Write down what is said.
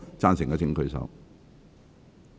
贊成的請舉手。